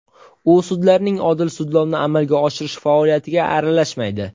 U sudlarning odil sudlovni amalga oshirish faoliyatiga aralashmaydi.